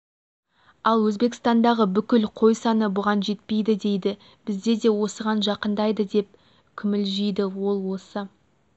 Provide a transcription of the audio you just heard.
ал өзбекстандағы бүкіл қой саны бұған жетпейді дейді бізде де осыған жақындайды деп күмілжиді ол осы